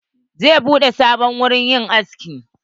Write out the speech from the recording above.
Zai buɗe sabon wurin yin aski.